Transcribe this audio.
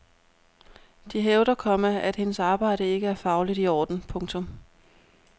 De hævder, komma at hendes arbejde ikke er fagligt i orden. punktum